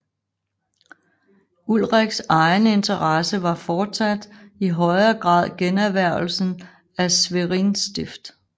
Ulriks egen interesse var fortsat i højere grad generhvervelsen af Schwerin stift